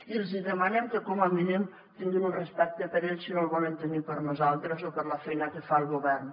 i els hi demanem que com a mínim tinguin un respecte per ells si no el volen tenir per nosaltres o per la feina que fa el govern